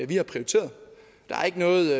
vi har prioriteret der er ikke noget